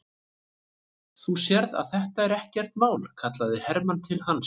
Þú sérð að þetta er ekkert mál, kallaði Hermann til hans.